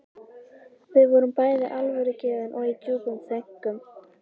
Við vorum bæði alvörugefin og í djúpum þönkum.